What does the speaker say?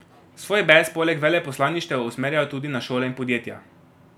Svoj bes poleg veleposlaništev usmerjajo tudi na šole in podjetja.